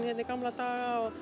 hérna í gamla daga og